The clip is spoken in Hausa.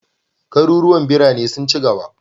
Garuruwan birane sun ci gaba.